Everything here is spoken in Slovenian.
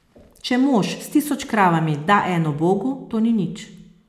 Če mož s tisoč kravami da eno bogu, to ni nič.